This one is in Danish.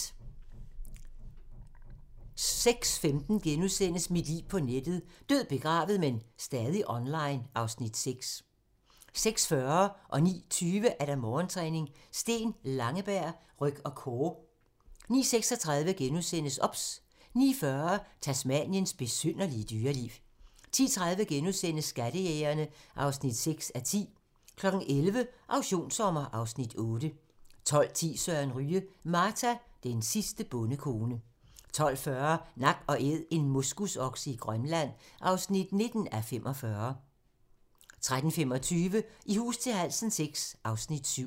06:15: Mit liv på nettet: Død, begravet, men stadig online (Afs. 6)* 06:40: Morgentræning: Steen Langeberg - ryg og core 09:20: Morgentræning: Steen Langeberg - ryg og core 09:36: OBS * 09:40: Tasmaniens besynderlige dyreliv 10:30: Skattejægerne (6:10)* 11:00: Auktionssommer (Afs. 8) 12:10: Søren Ryge: Marta, den sidste bondekone 12:40: Nak & Æd - en moskusokse i Grønland (19:45) 13:25: I hus til halsen VI (Afs. 7)